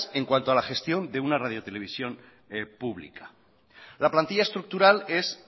en cuanto a la gestión de una radio televisión pública la plantilla estructural es